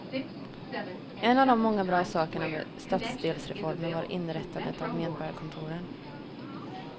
En av de många bra sakerna med stadsdelsreformen var inrättandet av medborgarkontoren.